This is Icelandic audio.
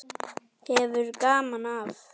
Hefur gaman af.